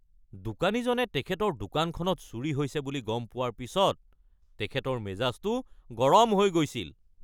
দোকানীজনে তেখেতৰ দোকানখনত চুৰি হৈছে বুলি গম পোৱাৰ পিছত তেখেতৰ মেজাজটো গৰম হৈ গৈছিল।